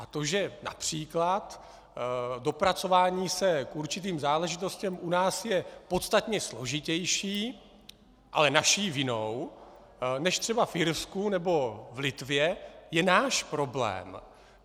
A to, že například dopracování se k určitým záležitostem u nás je podstatně složitější, ale naší vinou, než třeba v Irsku nebo v Litvě, je náš problém.